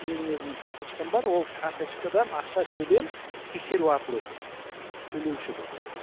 менің өзімнің карточкам бар ол карточкадан ақша төлем тексеру арқылы өтеді төлеуші кім